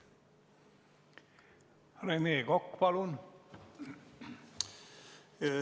Rene Kokk, palun!